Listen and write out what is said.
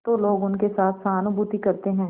तो लोग उनके साथ सहानुभूति करते हैं